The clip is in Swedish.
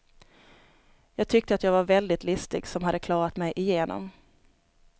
Jag tyckte att jag var väldigt listig som hade klarat mig igenom.